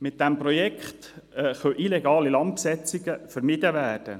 Mit diesem Projekt können illegale Landbesetzungen vermieden werden.